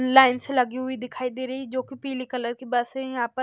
line से लगी हुई दिखाई दे रही जो की पीले कलर की बस है यहां पर--